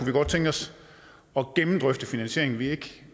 vi godt tænke os at gennemdrøfte finansieringen vi